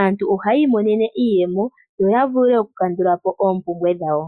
aantu ohayi imonena iiyemo yo yavule okukandulapo oompumbwe dhawo.